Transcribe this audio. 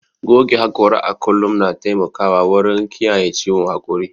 Goge haƙora a kullum na taimakawa wurin kiyaye ciwon haƙori.